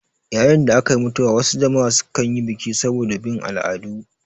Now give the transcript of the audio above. Yayin da akayi mutuwa wasu jama'a su kanyi biki saboda bin al'adu